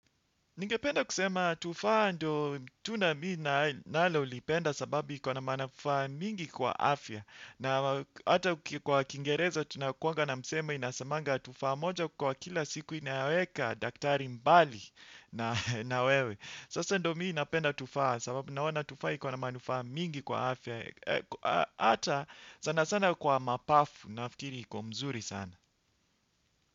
Ningependa kusema tufaa ndo tunda mimii nalolipenda sababu ikona manufaa mingi kwa afya. Na hata kwa kingereza tunakuanga na msema inasemanga tufaa moja kwa kila siku inaweka daktari mbali na wewe. Sasa ndo mimii napenda tufaa sababu naona tufaa ikona manufaa mingi kwa afya. Hata sana sana kwa mapafu nafikiri iko mzuri sana.